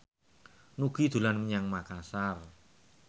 Nugie dolan menyang Makasar